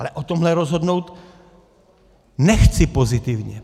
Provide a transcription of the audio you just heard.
Ale o tomhle rozhodnout nechci pozitivně.